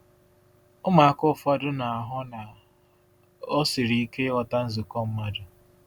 Ụmụaka ụfọdụ na-ahụ na ọ siri ike ịghọta nzukọ mmadụ.